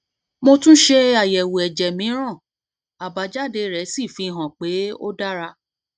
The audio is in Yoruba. mo tún ṣe àyẹwò ẹjẹ mìíràn àbájáde rẹ sì fi hàn pé ó dára